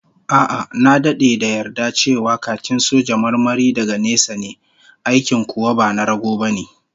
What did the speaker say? A'a, na dade da yarda cewa khakin soja marmari daga nesa ne, aikin kuwa ba na rago bane